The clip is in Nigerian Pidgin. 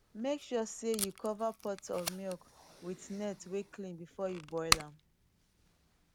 make sure sey you cover pot of milk with net wey clean before you boil am